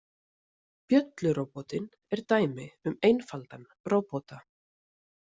Bjölluróbotinn er dæmi um einfaldan róbota.